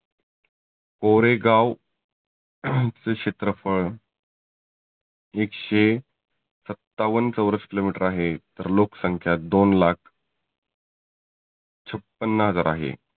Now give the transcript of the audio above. गोरेगाव चे क्षेत्रफळ एकशे सत्तावन्न चौरस किलो मिटर आहे. तर लोक संख्या दोन लाख छप्पन्न हजार आहे.